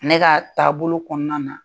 Ne ka taabolo kɔnɔna na